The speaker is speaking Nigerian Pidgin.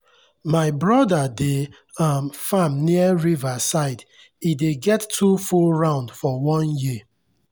my brother dey um farm near river side e dey get two full round for one year.